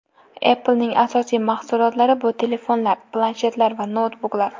Apple’ning asosiy mahsulotlari bu telefonlar, planshetlar va noutbuklar.